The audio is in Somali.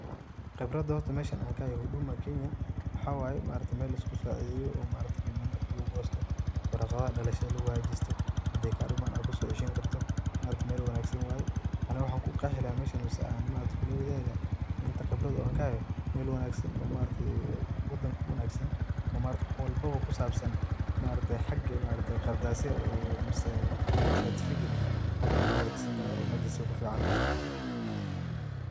Qeebrata horta meeshan an kahaye huduma Kenyan waxaye horta meel lisgu saceedeyoh oo maaragtay Kibanda lagu koostoh waraqa dalsha lagu hagajeeoh handa kaduuman AA kuso ceeshani kartoh, maaragtay meel wangsan waye Ani mxaa ku Qeexi lahay meeshan si an kuleathaki lahay inta Qeebrata oo kahayo meel wangsan oo maaragtay oo wadanka u wangsan oo maarg hool walba kusabsan maaragtay xage Qardaysah oo certificate xaga lagu hakajisani karah oo meshas way ku ficantahay.